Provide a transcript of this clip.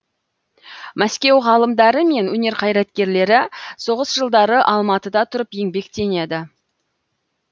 мәскеу ғалымдары мен өнер қайраткерлері соғыс жылдары алматыда тұрып еңбектенеді